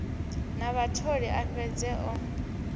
na vhatholi a fhedze o